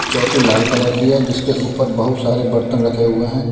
चौकी लाल कलर की है जिसके ऊपर बहुत सारे बर्तन रखे हुए हैं।